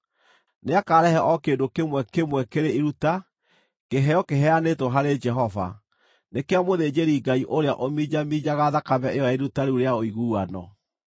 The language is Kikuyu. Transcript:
Nĩakarehe o kĩndũ kĩmwe kĩmwe kĩrĩ iruta, kĩheo kĩheanĩtwo harĩ Jehova; nĩ kĩa mũthĩnjĩri-Ngai ũrĩa ũminjaminjaga thakame ĩyo ya iruta rĩu rĩa ũiguano.